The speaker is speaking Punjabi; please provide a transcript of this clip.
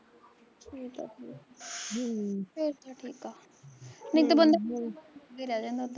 ਠੀਕ ਐ ਠੀਕ ਆ ਹਮ ਫੇਰ ਤਾਂ ਠੀਕ ਆ ਨਹੀਂ ਤਾਂ ਬੰਦਾ ਜੋਗਾ ਰਹਿ ਜਾਂਦਾ ਉੱਧਰ